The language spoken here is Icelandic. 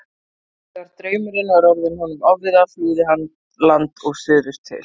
Þegar draumurinn var orðinn honum ofviða flúði hann land og suður til